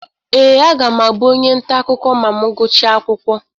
Ee, aga m abụ onye nta akụkọ ma m gụchaa akwụkwọ.